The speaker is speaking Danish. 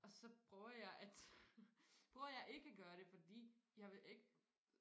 og så prøver jeg at prøver jeg ikke at gøre det fordi jeg vil ikke